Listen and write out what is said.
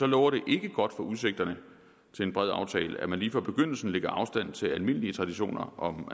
lover det ikke godt for udsigterne til en bred aftale at man lige fra begyndelsen lægger afstand til almindelige traditioner om